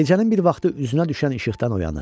Gecənin bir vaxtı üzünə düşən işıqdan oyanır.